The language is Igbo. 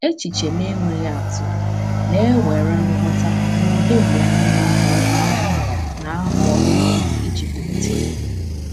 Echiche na-enweghị atụ na-ewere nghọta na ụdị mgbe anyị na-ahọrọ anyị na-ahọrọ okwu iji kwupụta ya.